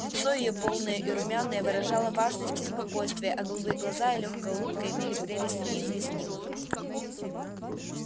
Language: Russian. лицо её полное и румяное выражало важность и спокойствие а голубые глаза и лёгкая улыбка имели прелесть неизъяснимую